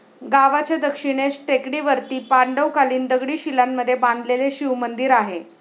गावाच्या दक्षिणेस टेकडीवरती पांडवकालिन दगडी शिलांमध्ये बांधलेले शिवमंदिर आहे.